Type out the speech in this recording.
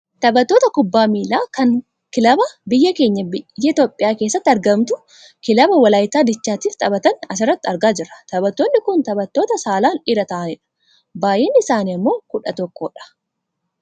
Taphattoota kubbaa miilaa kan kilaba biyya keenya biyya Itoopiyaa keessatti argamtu kilaba walaayittaa diichaatiif taphatan asirratti argaa jirra. Taphattootni kun Taphattoota saalaan dhiira ta'anidha. Baayyinni isaanii ammoo kudha tokko dha.